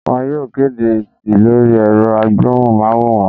Wọn yóò kedé esi lori erò agbohún- maworán